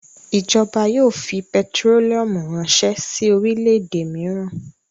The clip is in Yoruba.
Ìjọba yóò fi pẹtírólíúmù ránṣẹ́ sí orílẹ̀-èdè mìíràn.